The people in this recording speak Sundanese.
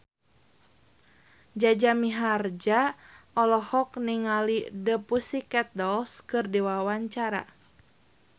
Jaja Mihardja olohok ningali The Pussycat Dolls keur diwawancara